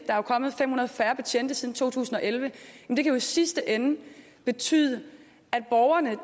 er jo kommet fem hundrede færre betjente siden to tusind og elleve kan det jo i sidste ende betyde at borgerne